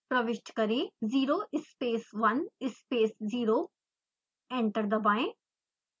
प्रविष्ट करें 0 space 1 space 0 enter दबाएं